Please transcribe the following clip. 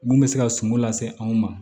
Mun bɛ se ka sunko lase anw ma